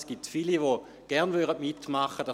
Es gibt viele, die gerne mitmachen würden.